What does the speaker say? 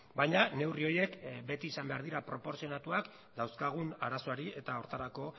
baina neurri horiek beti izan behar dira proportzionatuak dauzkagun arazoari eta horretarako